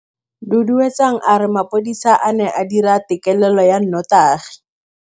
Duduetsang a re mapodisa a ne a dira têkêlêlô ya nnotagi.